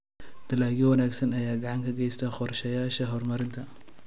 Dalagyo wanaagsan ayaa gacan ka geysta qorshayaasha horumarinta.